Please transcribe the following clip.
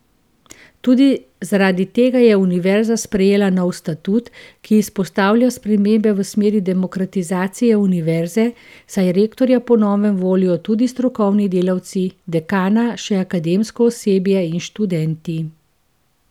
Tudi zaradi tega je univerza sprejela nov statut, ki izpostavlja spremembe v smeri demokratizacije univerze, saj rektorja po novem volijo tudi strokovni delavci, dekana še akademsko osebje in študenti.